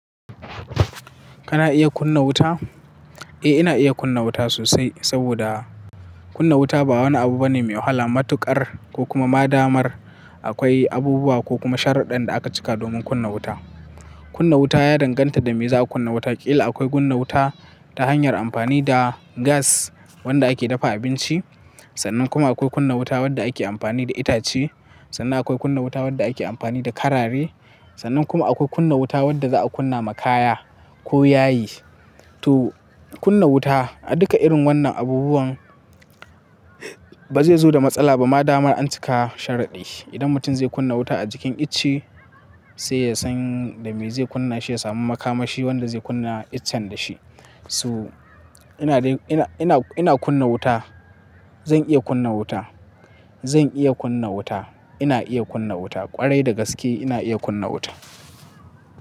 Kana iya kunna wuta? Eh, ina iya kunna wuta sosai saboda kunna wuta ba wani abu bane mai wahala. Matuƙar ko kuma madamar akwai abubuwa ko kuma sharaɗan da aka cika domin kunna wuta. Kunna wuta ya danganta da me za'a kunna wuta. Kila akwai kunna wuta ta hanyar amfani da gas wanda ake dafa abinci. Sannan kuma akwai kunna wuta wadda ake amfani da itace. Sannan akwai kunna wuta wadda ake amfani da karare. Sannan kuma akwai kunna wuta wadda za'a kunna makaya ko yayi. To kunna wuta a duka irin wannan abubuwan ba zai zo da matsala ba madamar an cika sharaɗi. Idan mutum zai kunna wuta a jikin itace sai ya san da me zai kunna shi ya samu makamashi wanda zai kunna icen da shi. So ina ina ina ina kunna wuta. Zan iya kunna wuta. Zan iya kunna wuta. Ina iya kunna wuta ƙwarai da gaske ina iya kunna wuta.